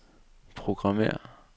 programmér